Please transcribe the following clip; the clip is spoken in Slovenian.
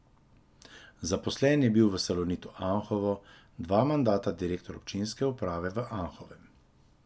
Zaposlen je bil v Salonitu Anhovo, dva mandata direktor občinske uprave v Anhovem.